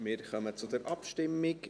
Wir kommen zur Abstimmung.